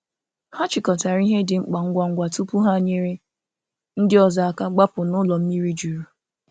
Hà chịkọtarà ihe dị mkpa ngwa ngwa tupu ha nyere ndị ọzọ aka gbapụ̀ n’ụlọ mmiri jurù.